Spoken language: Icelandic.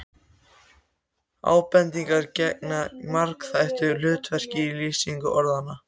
Ábendingar gegna margþættu hlutverki í lýsingu orðanna.